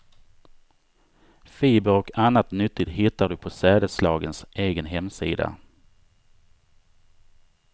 Fibrer och annat nyttigt hittar du på sädesslagens egen hemsida.